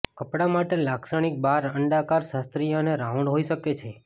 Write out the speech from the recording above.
કપડાં માટે લાક્ષણિક બાર અંડાકાર શાસ્ત્રીય અને રાઉન્ડ હોઇ શકે છે